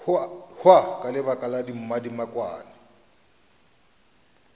hwa ka lebaka la mmadibekwane